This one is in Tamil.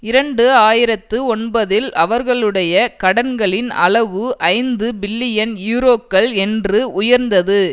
இரண்டு ஆயிரத்து ஒன்பதில் அவர்களுடைய கடன்களின் அளவு ஐந்து பில்லியன் யூரோக்கள் என்று உயர்ந்தது